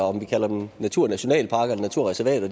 om vi kalder dem naturnationalparker eller naturreservater